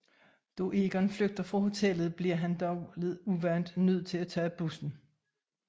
Da Egon flygter fra hotellet bliver han dog lidt uvant nød til at tage bussen